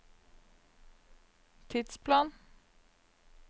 tidsplan